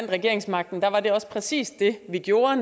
regeringsmagten var det også præcis det vi gjorde